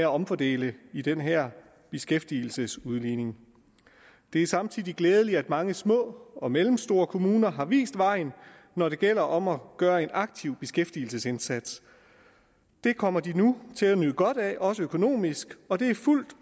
omfordele i den her beskæftigelsesudligning det er samtidig glædeligt at mange små og mellemstore kommuner har vist vejen når det gælder om at gøre en aktiv beskæftigelsesindsats det kommer de nu til at nyde godt af også økonomisk og det er fuldt